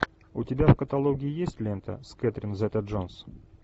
у тебя в каталоге есть лента с кэтрин зета джонс